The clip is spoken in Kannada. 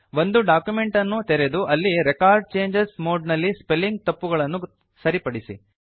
ಒಂದು ಡಾಕ್ಯುಮೆಂಟ್ ಅನ್ನು ತೆರೆದು ಅಲ್ಲಿ ರೆಕಾರ್ಡ್ ಚೇಂಜಸ್ ಮೋಡ್ ನಲ್ಲಿ ಸ್ಪೆಲ್ಲಿಂಗ್ ತಪ್ಪುಗಳನ್ನು ಸರಿಪಡಿಸಿ